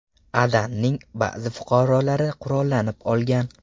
Adanning ba’zi fuqarolari qurollanib olgan.